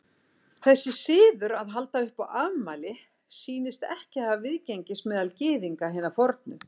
Þessi siður að halda upp á afmæli sýnist ekki hafa viðgengist meðal Gyðinga hinna fornu.